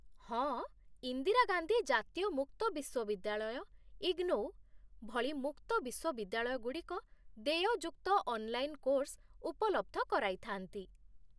ହଁ, ଇନ୍ଦିରାଗାନ୍ଧୀ ଜାତୀୟ ମୁକ୍ତ ବିଶ୍ୱବିଦ୍ୟାଳୟ, ଇଗ୍ନୋଉ, ଭଳି ମୁକ୍ତ ବିଶ୍ୱବିଦ୍ୟାଳୟଗୁଡ଼ିକ ଦେୟଯୁକ୍ତ ଅନ୍‌ଲାଇନ୍‌ କୋର୍ସ ଉପଲବ୍ଧ କରାଇଥାନ୍ତି